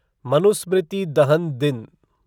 मनुस्मृति दहन दिन